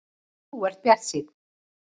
Þú ert bjartsýnn!